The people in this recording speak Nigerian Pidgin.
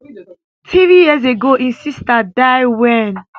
three years ago im sister die wen